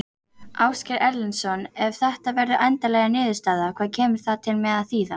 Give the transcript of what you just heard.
Ásgeir Erlendsson: Ef að þetta verður endanleg niðurstaða, hvað kemur það til með að þýða?